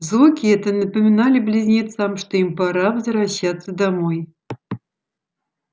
звуки эти напомнили близнецам что им пора возвращаться домой